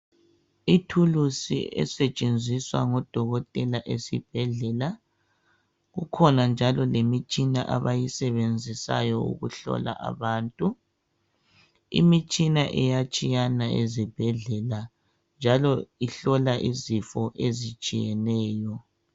Ithulusi esetshenziswa ngo dokotela esibhedlela kukhona njalo lemitshina abayisebenzisayo ukuhlola abantu imitshina iyatshiyana ezibhedlela njalo ihlola izifo ezitshiyeneyo